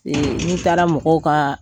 n'i taara mɔgɔw ka